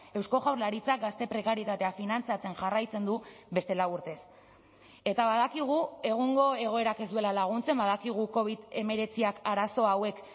eusko jaurlaritzak gazte prekarietatea finantzatzen jarraitzen du beste lau urtez eta badakigu egungo egoerak ez duela laguntzen badakigu covid hemeretziak arazo hauek